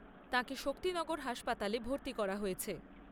তাঁকে শক্তিনগর হাসপাতালে ভর্তি করা হয়েছে।